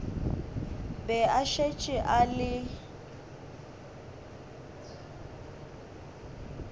be a šetše a le